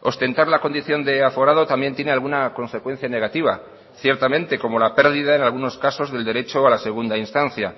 ostentar la condición de aforado también tiene alguna consecuencia negativa ciertamente como la perdida en algunos casos del derecho a la segunda instancia